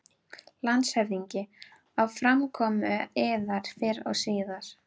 LANDSHÖFÐINGI: Á framkomu yðar fyrr og síðar.